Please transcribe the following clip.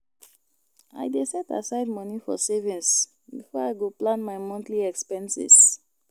I dey set aside money for savings before I go plan my monthly expenses.